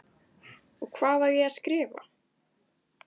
Og hvað á ég að skrifa?